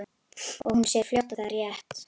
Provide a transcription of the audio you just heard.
Og hún sér fljótt að það er rétt.